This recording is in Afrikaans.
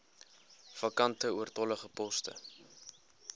vakante oortollige poste